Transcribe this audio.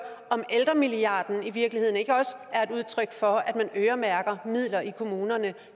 om ældremilliarden i virkeligheden ikke også er et udtryk for at man øremærker midler i kommunerne